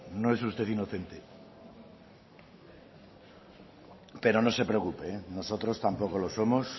no es usted inocente pero no se preocupe nosotros tampoco lo somos